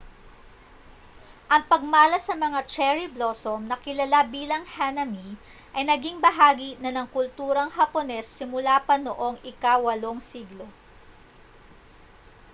ang pagmalas sa mga cherry blossom na kilala bilang hanami ay naging bahagi na ng kulturang hapones simula pa noong ika-8 siglo